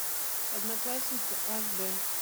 одноклассница аш д